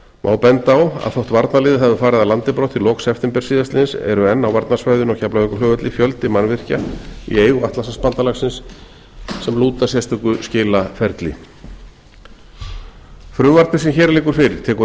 má benda á að þótt varnarliðið hafi farið af landi brott í lok september síðastliðins eru enn á varnarsvæðinu á keflavíkurflugvelli fjöldi mannvirkja í eigu atlantshafsbandalagsins sem lúta sérstöku skilaferli frumvarpið sem hér liggur fyrir tekur